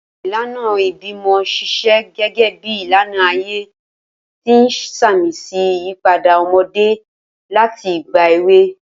Awọn ilana ibimọ ṣiṣẹ gẹgẹbi ilana aye, ti n samisi iyipada ọmọde lati igba ewe.